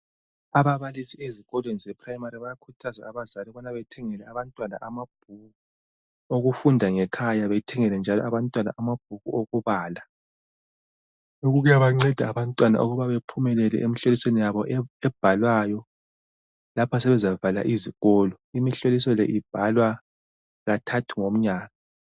Ababalisi bezikolweni zePrimary bayakhuthaza abazali ukubana bathengele abantwana amabhuku okufunda ngekhaya, bethengele njalo njalo abantwana amabhuku okubala. Lokhu kuyabanceda ukuba bephumele emihlolisweni yabo lapho sebezavala izikolo. Imihloliso le ibhalwa kathathu ngomnyaka.